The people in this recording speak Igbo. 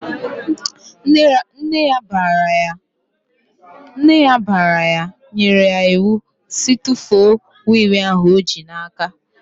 Nne ya bara ya nyere ya iwu sị "tụfuo wii wii ahụ i ji n'aka!"